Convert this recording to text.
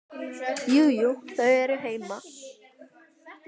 Jú, jú. þau eru heima.